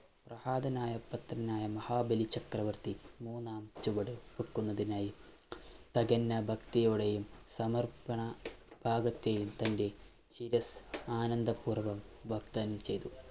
പ്രഹാതനായ പുത്രനായ മഹാബലി ചക്രവർത്തി മൂന്നാം ചുവട് വെക്കുന്നതിനായി തികഞ്ഞ ഭക്തിയോടെയും സമർപ്പണ ഭാവത്തെയും തന്റെ ശിരസ്സ് ആനന്ദപൂർവ്വം വാഗ്ദാനം ചെയ്തു.